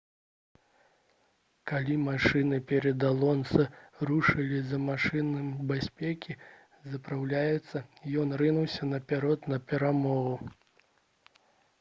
калі машыны перад алонса рушылі за машынай бяспекі запраўляцца ён рынуўся наперад па перамогу